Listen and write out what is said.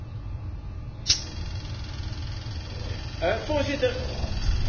Voorzitter, wij als EVP Fractie zijn tegen dit verzoek.